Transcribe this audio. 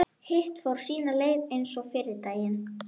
Hitt fór sína leið eins og fyrri daginn.